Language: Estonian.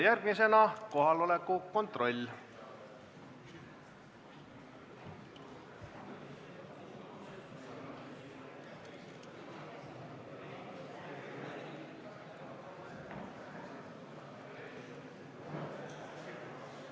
Järgmisena kohaloleku kontroll.